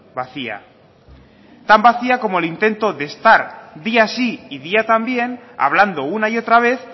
vacía tan vacía como el intento de estar día sí y día también hablando una y otra vez